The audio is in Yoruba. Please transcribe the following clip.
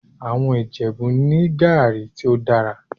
Àwọn Ìjẹ̀bú ní gàrí tí ó dára